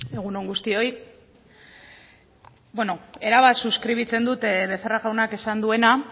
egun on guztioi bueno erabat suskribitzen dut becerra jaunak esan duena